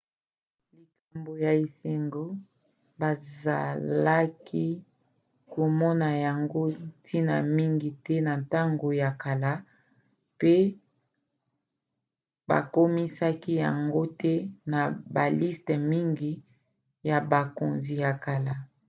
likambo ya esengo bazalaki komona yango ntina mingi te na ntango ya kala pe bakomisaki yango te na baliste mingi ya bakonzi ya kala